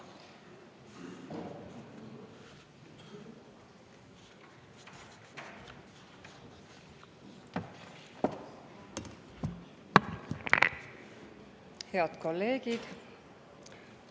Head kolleegid!